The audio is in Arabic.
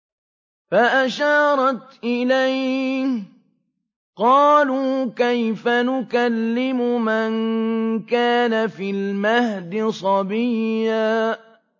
فَأَشَارَتْ إِلَيْهِ ۖ قَالُوا كَيْفَ نُكَلِّمُ مَن كَانَ فِي الْمَهْدِ صَبِيًّا